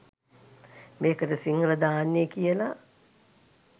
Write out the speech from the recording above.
මේකට සිංහල දාන්නේ කියලා